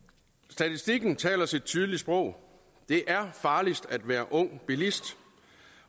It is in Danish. statistikken taler sit tydelige sprog det er farligst at være ung bilist